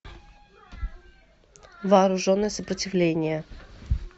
вооруженное сопротивление